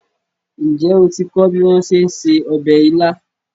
Ǹjẹ́ o ti kọ́ bí wón ṣe ń se ọbẹ̀ ilá?